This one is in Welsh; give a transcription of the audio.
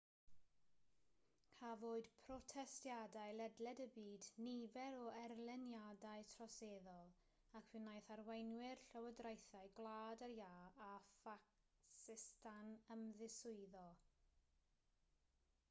cafwyd protestiadau ledled y byd nifer o erlyniadau troseddol ac fe wnaeth arweinwyr llywodraethau gwlad yr iâ a phacistan ymddiswyddo